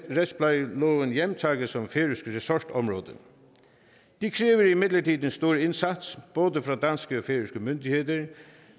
retsplejeloven hjemtaget som færøsk ressortområde det kræver imidlertid en stor indsats både fra danske og færøske myndigheder da